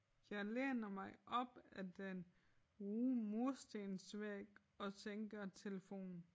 Jeg læner mig op ad den ru murstensvæg og sænker telefonen